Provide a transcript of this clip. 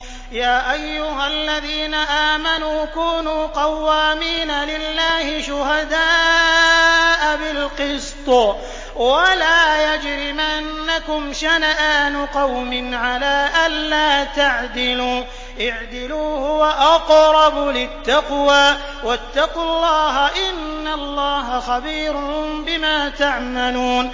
يَا أَيُّهَا الَّذِينَ آمَنُوا كُونُوا قَوَّامِينَ لِلَّهِ شُهَدَاءَ بِالْقِسْطِ ۖ وَلَا يَجْرِمَنَّكُمْ شَنَآنُ قَوْمٍ عَلَىٰ أَلَّا تَعْدِلُوا ۚ اعْدِلُوا هُوَ أَقْرَبُ لِلتَّقْوَىٰ ۖ وَاتَّقُوا اللَّهَ ۚ إِنَّ اللَّهَ خَبِيرٌ بِمَا تَعْمَلُونَ